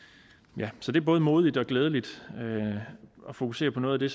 så det er både modigt og glædeligt at fokusere på noget af det